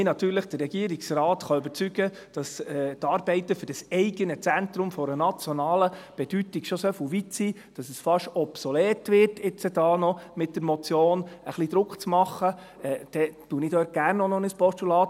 Wenn mich der Regierungsrat überzeugen kann, dass die Arbeiten für das eigene Zentrum von nationaler Bedeutung schon so weit sind, dass es fast obsolet ist, mit dieser Motion ein bisschen Druck auszuüben, dann wandle ich gerne in ein Postulat.